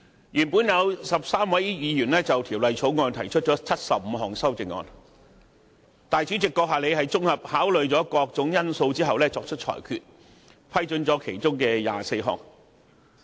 原本有13位議員就《條例草案》提出75項修正案，主席閣下綜合考慮各種因素後作出裁決，批准議員提出其中24項。